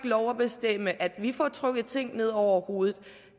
lov at bestemme at vi får trukket ting ned over hovedet